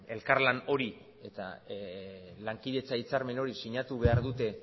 elkarlan hori eta lankidetza hitzarmen hori sinatu behar dute